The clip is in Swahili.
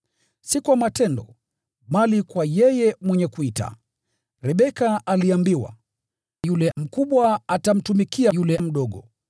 si kwa matendo, bali kwa yeye mwenye kuita, Rebeka aliambiwa, “Yule mkubwa atamtumikia yule mdogo.”